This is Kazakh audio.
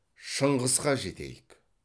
шыңғысқа жетейік